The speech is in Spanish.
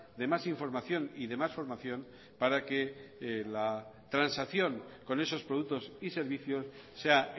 de mas información y de más formación para que la transacción con esos productos y servicios sea